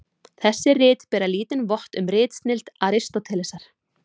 Þessi rit bera lítinn vott um ritsnilld Aristótelesar.